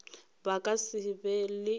ba ka se be le